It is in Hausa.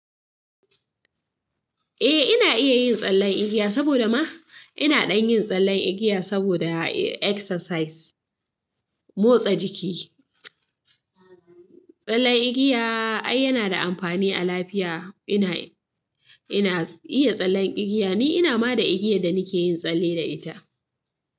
Eh, ina iya yin tsallen igiya saboda ma ina dan yin tsallen igiya saboda exercise, motsa jiki. Tsallen igiya ai yana da amfani a lafiya. Ina, ina iya tsallen igiya ne, ina ma da igiyar da nake yin tsalle da ita.